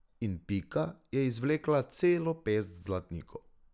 In Pika je izvlekla celo pest zlatnikov.